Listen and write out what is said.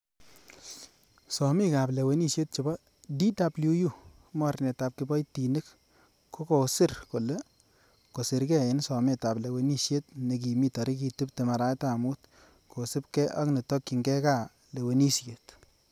Somikab lewenisiet chebo DWU, Mornetab kiboitikik, kokosir kole kosirge en sometab lewenisiet nekimi tarigit tibtem arawetab mut, kosiibge ak netokyinge gaa lewenisiet.